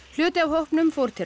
hluti af hópnum fór til